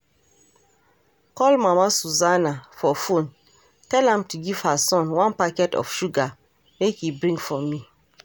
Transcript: Call mama Susanna for phone tell am to give her son one packet of sugar make he bring for me